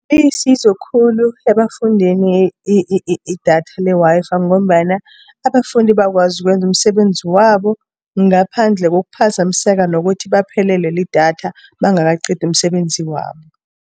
Ilisizo khulu ebafundini idatha le-Wi-Fi, ngombana abafundi bayakwazi ukwenza umsebenzi wabo, ngaphandle kokuphazamiseka nokuthi baphelelwe lidatha bangakaqedi umsebenzi wabo.